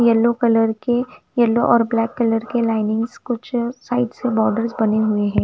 Yellow colour के yellow और black colour के लीनिंग्स कुछ साइड से बॉर्डर्स बने हुए है।